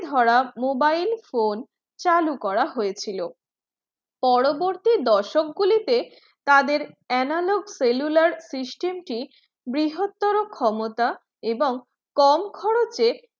ধরা mobile phone চালু করা হয়েছিল পরবর্তী দশক গুলিতে তাদের analog cellular system টি বৃহত্তর ক্ষমতা এবং কম খরচে